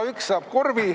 Igaüks saab korvi.